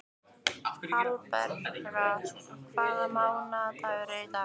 Hallbera, hvaða mánaðardagur er í dag?